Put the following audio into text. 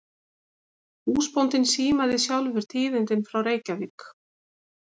Húsbóndinn símaði sjálfur tíðindin frá Reykjavík.